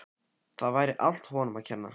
Það væri allt honum að kenna.